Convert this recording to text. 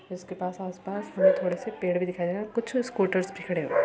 इसके पास आस -पास हमें थोड़े पेड़ भी दिखाई दे रहें और कुछ स्कूटर्स भी खड़े हुए हैं।